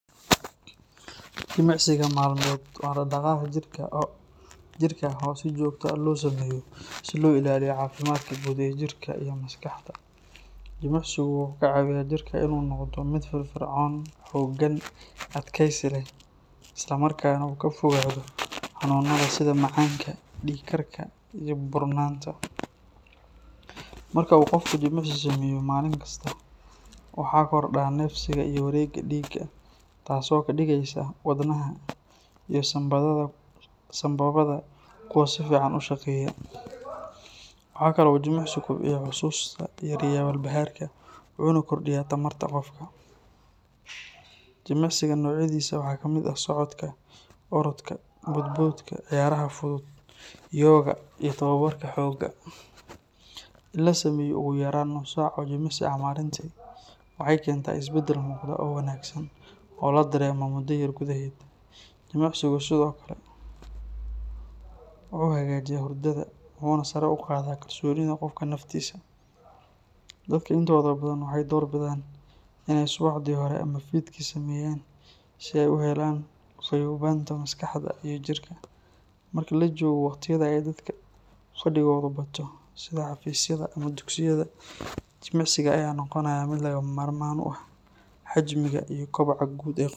Jimicsiga maalmeed waa dhaqdhaqaaq jirka ah oo si joogto ah loo sameeyo si loo ilaaliyo caafimaadka guud ee jirka iyo maskaxda. Jimicsigu wuxuu ka caawiyaa jirka inuu noqdo mid firfircoon, xooggan, adkaysi leh, islamarkaana uu ka fogaado xanuunada sida macaanka, dhiig karka iyo buurnaanta. Marka uu qofku jimicsi sameeyo maalin kasta, waxaa kordha neefsiga iyo wareegga dhiigga, taas oo ka dhigaysa wadnaha iyo sambabada kuwo si fiican u shaqeeya. Waxaa kale oo uu jimicsigu kobciyaa xusuusta, yareeyaa walbahaarka, wuxuuna kordhiyaa tamarta qofka. Jimicsiga noocyadiisa waxaa ka mid ah socodka, orodka, boodboodka, ciyaaraha fudud, yoga iyo tababarka xoogga. In la sameeyo ugu yaraan nus saac oo jimicsi ah maalintii waxay keentaa isbedel muuqda oo wanaagsan oo la dareemo muddo yar gudaheed. Jimicsigu sidoo kale wuxuu hagaajiyaa hurdada, wuxuuna sare u qaadaa kalsoonida qofka naftiisa. Dadka intooda badan waxay door bidaan in ay subaxdii hore ama fiidkii sameeyaan, si ay u helaan fayoobaanta maskaxda iyo jirka. Marka la joogo wakhtiyada ay dadka fadhigoodu bato, sida xafiisyada ama dugsiyada, jimicsiga ayaa noqonaya mid lagama maarmaan u ah xajmiga iyo koboca guud ee qofka.